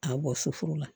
A bɔ suforo la